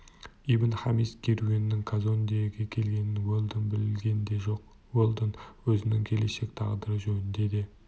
ибн-хамис керуенінің казондеге келгенін уэлдон білген де жоқ уэлдон өзінің келешек тағдыры жөнінде де